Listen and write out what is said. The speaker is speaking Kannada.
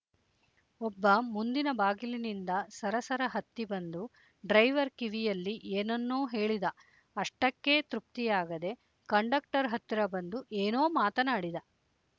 ಒಬ್ಬ ಮುಂದಿನ ಬಾಗಿಲಿನಿಂದ ಸರಸರ ಹತ್ತಿ ಬಂದು ಡ್ರೈವರ್ ಕಿವಿಯಲ್ಲಿ ಏನನ್ನೋ ಹೇಳಿದ ಅಷ್ಟಕ್ಕೇ ತೃಪ್ತಿಯಾಗದೆ ಕಂಡಕ್ಟರ್ ಹತ್ತಿರ ಬಂದು ಏನೋ ಮಾತನಾಡಿದ